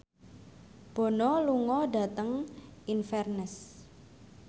Bono lunga dhateng Inverness